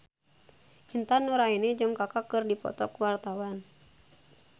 Intan Nuraini jeung Kaka keur dipoto ku wartawan